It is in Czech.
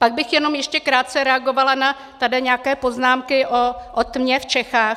Pak bych jenom ještě krátce reagovala na tady nějaké poznámky o tmě v Čechách.